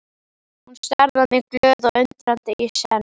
Hún starði á mig glöð og undrandi í senn.